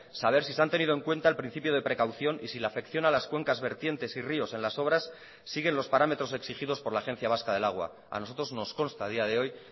saber si se han tenido en cuenta el principio de precaución y si la afección a las cuencas vertientes y ríos en las obras siguen los parámetros exigidos por la agencia vasca del agua a nosotros nos consta a día de hoy